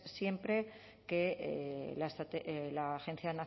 siempre que la agencia